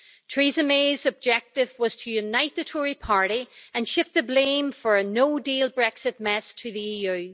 Theresa May's objective was to unite the Tory Party and shift the blame for a no-deal Brexit mess to the EU.